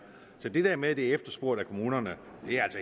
så det der med at det er efterspurgt af kommunerne er